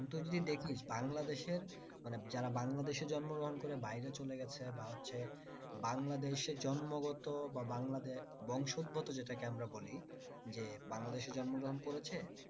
তুই যদি দেখিস বাংলাদেশের মানে যারা বাংলাদেশে জন্ম গ্রহণ করে বাইরে চলে গেছে বা হচ্ছে বা হচ্ছে বাংলাদেশে জন্মগত বা বাংলাদেশ বংশগত যেটা কে আমরা বলি যে বাংলাদেশে জন্মগ্রহণ করেছে